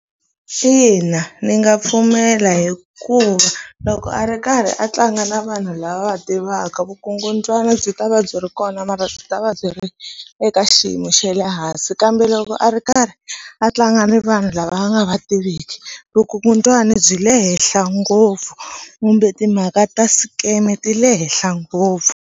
Ina ndzi nga pfumela hikuva loko a ri karhi a tlanga na vanhu lava a va tivaka vukungundzwana byi ta va byi ri kona mara byi ta va byi ri eka xiyimo xa le hansi kambe loko a ri karhi a tlanga ni vanhu lava a nga va tiviki vukungundzwani byi le henhla ngopfu kumbe timhaka ta scam ti le henhla ngopfu.